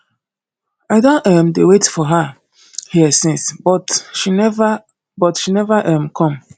i don um dey wait for her here since but she never but she never um come